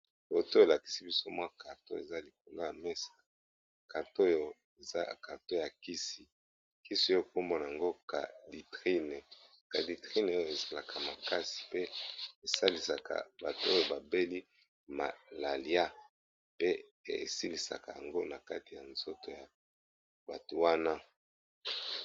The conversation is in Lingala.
Foto elakisi biso mwa karto eza likonga ya mesa karte oyo eza karto ya kisi kisi oyo ekombona yango caditrine caditrine oyo esalaka makasi pe esalisaka bato oyo babeli malalia pe esilisaka yango na kati ya nzoto ya bato wana.